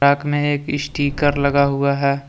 Fuck में एक sticker लगा हुआ है।